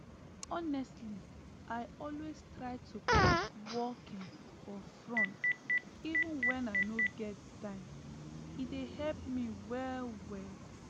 honestly i always try to put walking for front even when i no get time e dey help me well well